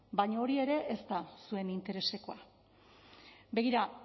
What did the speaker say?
baina hori ere ez da zuen interesekoa begira